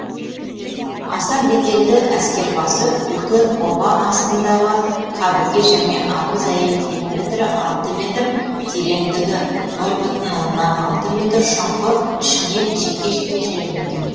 аса беделді әскербасы үлкен оба астындағы қабірге және абыз әйел диаметрі алты метр тереңдігі нөл бүтін оннан алты метр шұңқыр ішіне жеке жеке жерленген